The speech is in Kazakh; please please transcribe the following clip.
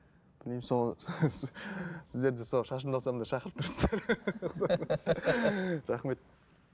білмеймін сол сіздер де сол шашымды алсам да шақырып тұрсыздар ғой рахмет